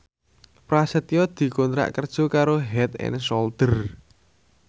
Prasetyo dikontrak kerja karo Head and Shoulder